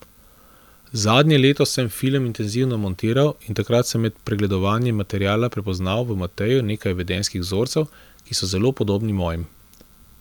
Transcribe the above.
Zadnje leto sem film intenzivno montiral in takrat med pregledovanjem materiala prepoznal v Mateju nekaj vedenjskih vzorcev, ki so zelo podobni mojim.